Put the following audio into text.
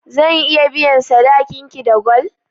Zan iya biyan sadakin ki da gwal?